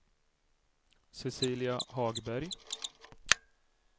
Cecilia Hagberg